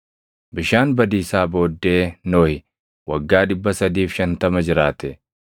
Bishaan badiisaa booddee Nohi waggaa 350 jiraate.